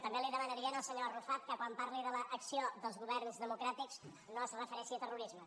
també li demanaria al senyor arrufat que quan parlés de l’acció dels governs democràtics no es referís a terrorisme